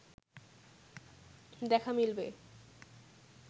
দেখা মিলবে